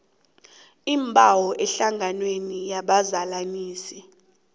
iimbawo ehlanganweni yabazalanisi